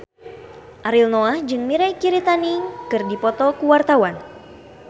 Ariel Noah jeung Mirei Kiritani keur dipoto ku wartawan